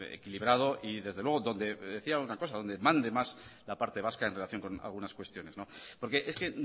equilibrado y desde luego donde mande más la parte vasca en relación con algunas cuestiones porque es que